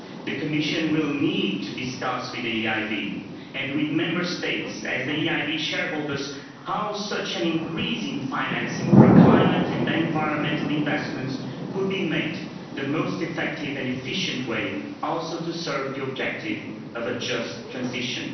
The Commission will need to discuss with the EIB and with Member States, as the EIB shareholders, how such an increasing financing for climate and environmental investments could be made in the most effective and efficient way, also to serve the objective of a just transition.